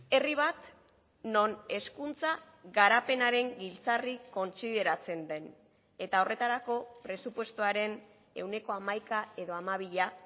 herri bat non hezkuntza garapenaren giltzarri kontsideratzen den eta horretarako presupuestoaren ehuneko hamaika edo hamabia